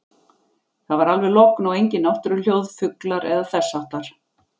Það var alveg logn og engin náttúruhljóð, fuglar eða þess háttar.